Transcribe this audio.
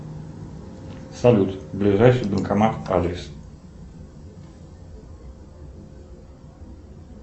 салют ближайший банкомат адрес